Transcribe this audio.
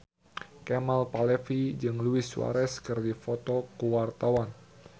Kemal Palevi jeung Luis Suarez keur dipoto ku wartawan